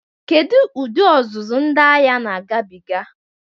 Kedu ụdị ọzụzụ ndị agha na-agabiga?